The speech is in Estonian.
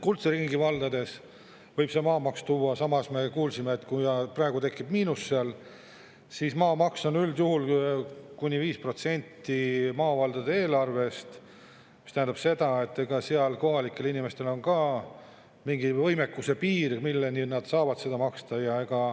Kuldse ringi valdades võib see maamaks tuua, samas me kuulsime, et kui praegu tekib miinus, siis maamaks on üldjuhul kuni 5% maavaldade eelarvest, mis tähendab seda, et kohalikel inimestel on mingi võimekuse piir, milleni nad saavad maksta.